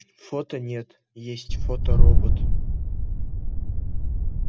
фото нет есть фоторобот